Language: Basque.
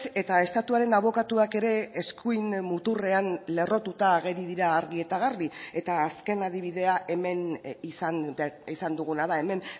eta estatuaren abokatuak ere eskuin muturrean lerrotuta ageri dira argi eta garbi eta azken adibidea hemen izan duguna da hemen